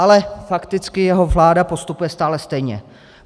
Ale fakticky jeho vláda postupuje stále stejně.